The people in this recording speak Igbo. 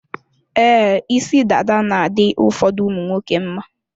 Ee, isi dada na-adị ụfọdụ ụmụnwoke mma.